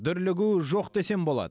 дүрлігу жоқ десем болады